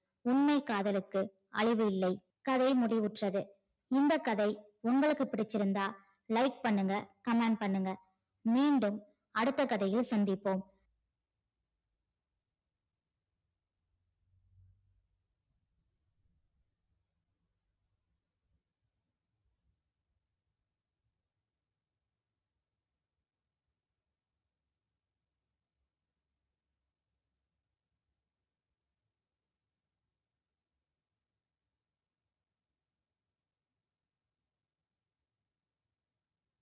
உண்மைக் காதலுக்கு அளவு இல்லை. கதை முடிவுற்றது. இந்த கதை உங்களுக்கு பிடிச்சிருந்தா like பண்ணுங்க comment பண்ணுங்க. மீண்டும் அடுத்த கதையில் சந்திப்போம்.